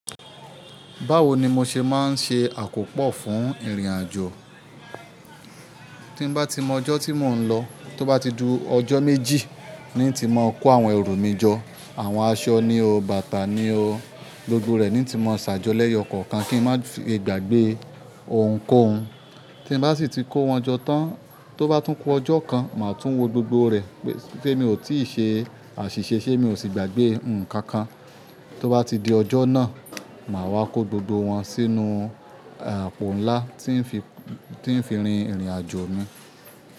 Báwo ni mo ṣe máa ń ṣe àkópò fún ìrìnàjò? Tí bá ti mọ ọjọ́ tí mò ń lọ, tó bá ti ju ọjọ́ méjì, ní ti máa kó àwọn ẹrù mi jọ. Àwọn aṣọ ni o, bàtà ni o, gbogbo rẹ ni ti máa ṣàjọlẹ́yọ kọ̀ọ̀kan kí n má ṣe gbàgbé ohun kó ohun. Tí bá sì ti kó wọn jó tán, tó bá tún ku ọjọ́ kan, màá tún wo gbogbo rẹ̀ pé mi ò tíì ṣe àṣìṣe, ṣe mi ò sì gbàgbé nǹkan kan. Tó bá ti di ọjọ́ náà, màá wá kó gbogbo wọn sínú àpò ńlá tí ń fi rìn ìrìnàjò mi.